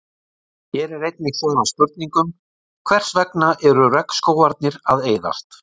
Hér er einnig svarað spurningum: Hvers vegna eru regnskógarnir að eyðast?